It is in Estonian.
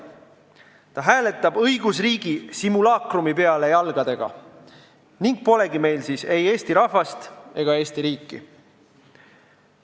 Ta hääletab õigusriigi simulaakrumi peale jalgadega ning polegi meil siis ei Eesti rahvast ega Eesti riiki.